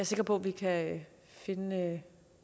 sikker på vi kan finde